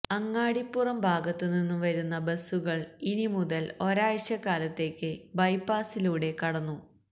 അങ്ങാടിപ്പുറം ഭാഗത്ത് നിന്നും വരുന്ന ബസുകള് ഇനി മുതല് ഒരാഴ്ചക്കാലത്തേക്ക് ബൈപാസിലൂടെ കടന്നു